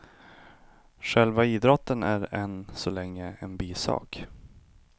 Själva idrotten är än så länge en bisak.